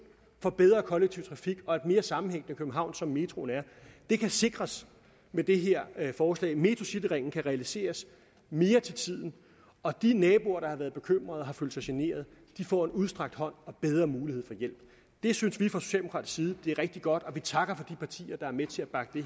for bedre kollektiv trafik og et mere sammenhængende københavn som metroen giver kan sikres med det her forslag metrocityringen kan realiseres mere til tiden og de naboer der har været bekymret og følt sig generet får en udstrakt hånd og bedre mulighed for hjælp det synes vi fra socialdemokratisk side er rigtig godt og vi takker de partier der er med til at bakke det